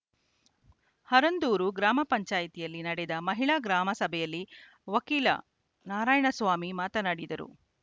ಹರಂದೂರು ಗ್ರಾಮ ಪಂಚಾಯತಿಯಲ್ಲಿ ನಡೆದ ಮಹಿಳಾ ಗ್ರಾಮ ಸಭೆಯಲ್ಲಿ ವಕೀಲ ನಾರಾಯಣಸ್ವಾಮಿ ಮಾತನಾಡಿದರು